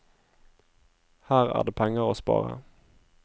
Her er det penger å spare.